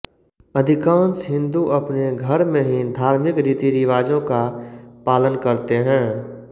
अधिकांश हिंदू अपने घर में ही धार्मिक रीतिरिवाजों का पालन करते हैं